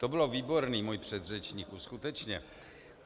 To bylo výborné, můj předřečníku, skutečně.